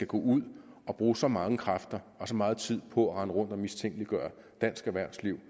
gå ud og bruge så mange kræfter og så meget tid på at rende rundt og mistænkeliggøre dansk erhvervsliv